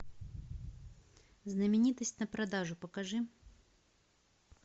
знаменитость на продажу покажи